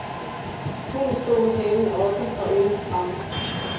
Hunden stod med halen oppe og ørerne fremme.